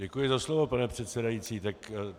Děkuji za slovo, pane předsedající.